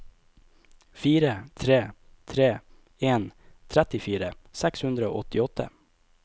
fire tre tre en trettifire seks hundre og åttiåtte